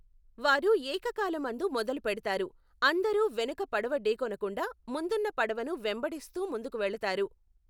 వారు ఏకకాలమందు మొదలుపెడతారు, అందరూ వెనుక పడవ ఢీకొనకుండా, ముందున్న పడవను వెంబడిస్తూ ముందుకు వెళతారు.